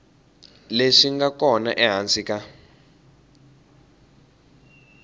leswi nga kona ehansi ka